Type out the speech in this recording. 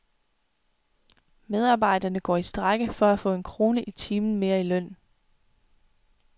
Medarbejderne går i strejke for at få en krone i timen mere i løn.